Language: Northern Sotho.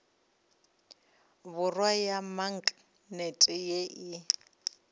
borwa ya maknete ye e